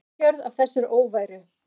Ísafjörð af þessari óværu!